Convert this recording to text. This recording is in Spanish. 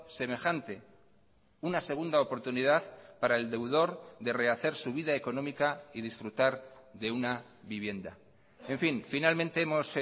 semejante una segunda oportunidad para el deudor de rehacer su vida económica y disfrutar de una vivienda en fin finalmente hemos